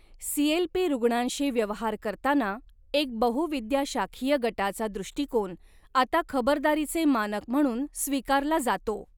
CLP रुग्णांशी व्यवहार करताना एक बहुविद्याशाखीय गटाचा दृष्टीकोन आता खबरदारीचे मानक म्हणून स्वीकारला जातो.